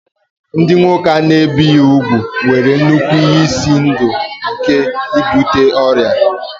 Ndị nwoke a na-ebighị úgwù nwere nnukwu ihe ize ndụ nke ibute ọrịa